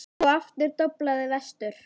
Og aftur doblaði vestur.